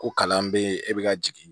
Ko kalan bɛ yen e bɛ ka jigin